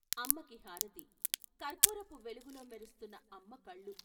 అమ్మకి హారతి కర్పూరపు వెలుగులో మెరుస్తున్న అమ్మ కళ్ళు.